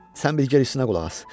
Sən bir qalanına qulaq as.